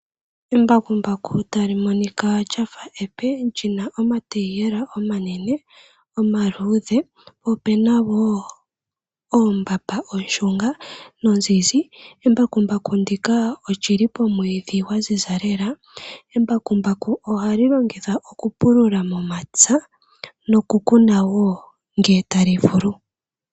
Embakumbaku tali monika lya fa epe li na omatayiyela omanene omaluudhe. Opu na wo ombapa oshunga nozizzi. Embakumbaku ndika oli li pomwiidhi gwa ziza lela, embakumbaku ohali longithwa okupulula momapya nokukuna wo ngele tali vulu.